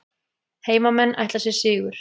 Heimamenn ætla sér sigur